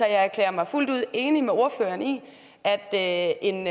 jeg erklærer mig fuldt ud enig med ordføreren i at en